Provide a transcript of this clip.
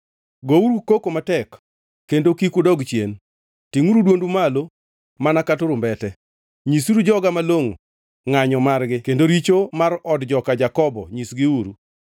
“Gouru koko matek, kendo kik udog chien. Tingʼuru dwondi malo mana ka turumbete. Nyisuru joga malongʼo ngʼanyo margi kendo richo mar od joka Jakobo nyisgiuru.